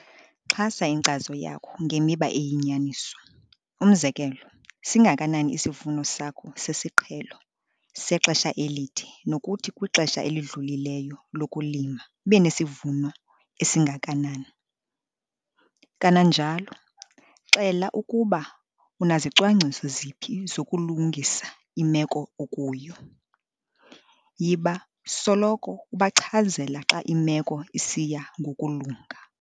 Xhasa inkcazo yakho ngemiba eyinyaniso - umzekelo, singakanani isivuno sakho sesiqhelo sexesha elide nokuthi kwixesha elidlulileyo lokulima ubunesivuno esingakanani. Kananjalo, xela ukuba unazicwangciso ziphi zokulungisa imeko okuyo. Yiba soloko ubachazela xa imeko isiya ngokulunga.